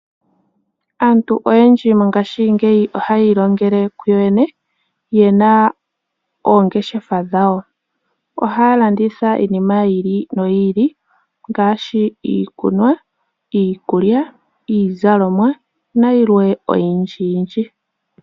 Aantu oyendji mongaashingeyi ohayi ilongele ku yoyene, yena oongeshefa dhawo. Ohaya landitha iinima yi ili noyi ili ngaashi iikunwa, iikulya, iizalomwa nayilwe oyindji yindji.